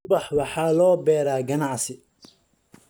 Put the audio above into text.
Ubax waxaa loo beeraa ganacsi.